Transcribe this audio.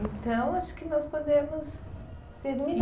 Então, acho que nós podemos terminar.